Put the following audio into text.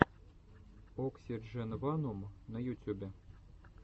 оксидженванум на ютюбе